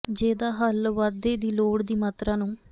ਜੇ ਦਾ ਹੱਲ ਵਾਧੇ ਦੀ ਲੋੜ ਦੀ ਮਾਤਰਾ ਨੂੰ